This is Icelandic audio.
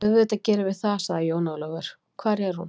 Auðvitað gerum við það, sagði Jón Ólafur, hvar er hún?